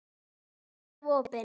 Alltaf opin.